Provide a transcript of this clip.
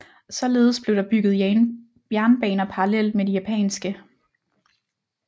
Således blev der bygget jernbaner parallelt med de japanske